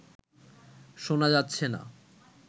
শোনা যাচ্ছে না